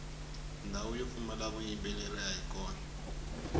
ndhawu yo pfumala vuyimbeleri ayi kona